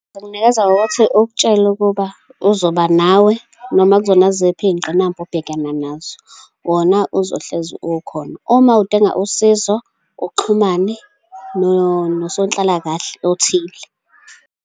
Ingakunikeza ngokuthi ukutshele ukuba uzoba nawe, noma kuzona ziphi iy'ngqinamba obhekana nazo, wona uzohlezi ukhona. Uma udinga usizo, uxhumane nosonhlalakahle othile.